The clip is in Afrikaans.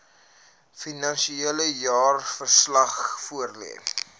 finansiële jaarverslag voorlê